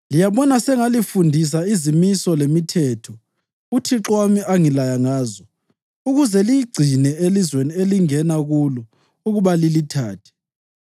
Liyabona sengalifundisa izimiso lemithetho uThixo wami angilaya ngazo, ukuze liyigcine elizweni elingena kulo ukuba lilithathe.